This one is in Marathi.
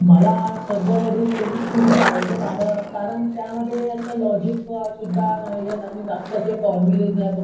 मला सध्यातरी केमिस्त्री खूप आवडतो कार अम कारण त्यामध्ये असं लॉजिक सुद्धा नाहीये अन जास्त असे फॉर्मुलेस नाहीये,